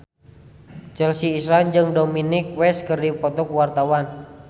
Chelsea Islan jeung Dominic West keur dipoto ku wartawan